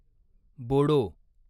Bodo